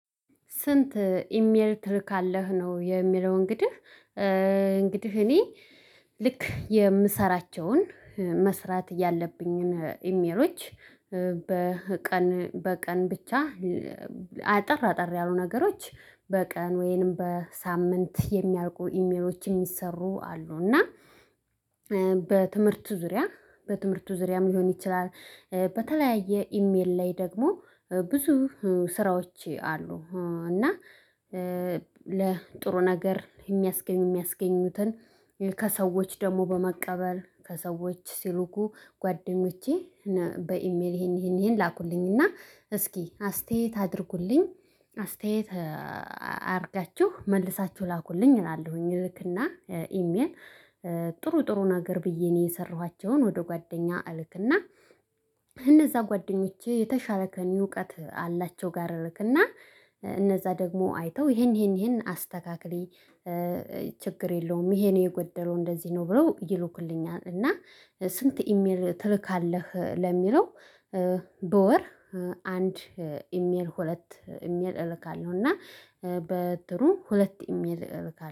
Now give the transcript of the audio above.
ስንት ኢሜልል ትልካለህ? ነው የሚለው እንግዲህ እንግዲህ እኔ ልክ የምሰራቸውን መስራት እያለብኝን ኢሜይሎች በቀን በቀን ብቻ አጠር አጠር ያሉ ነገሮች በቀን ወይንም በሳምንት የሚያልቁ ኢሜይሎች የሚሰሩ አሉ እና በትምህርቱ ዙሪያ በትምህርቱ ዙሪያም ሊሆን ይችላል በተለያየ ኢሜይል ላይ ደግሞ ብዙ ስራዎች አሉ እና ለጥሩ ነገር የሚያስገኙ ሚያስገኙትን ከሰዎች ደግሞ በመቀበል ከሰዎች ሲሉኩ ጓደኞቼ በኢሜይል ይሄን ይሄን ይሄን ላኩልኝና እስኪ አስተያየት አድርጉልኝ አስተያየት አድርጋችሁ መልሳችሁ ላኩልኝ እላለሁኝ ልክና ኢሜይል ጥሩ ጥሩ ነገር ብዬ እኔ የሰራኋቸውን ወደ ጓደኛ እልክና እነዛ ጓደኞቼ የተሻረከኝ እውቀት አላቸው ጋር እልክና እነዛ ደግሞ አይተው ይሄን ይሄን ይሄን አስተካክል ችግር የለውም ይሄን የጎደለው እንደዚህ ነው ብለው ይልኩልኛልና እና ስንት ኢሜይል ትልካለህ? ለሚለው በወር አንድ ኢሜይል ሁለት ኢሜይል እልካለሁ እና በጥሩ ሁለት ኢሜይል እልካለሁ።